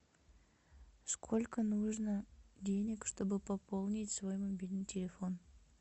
сколько нужно денег чтобы пополнить свой мобильный телефон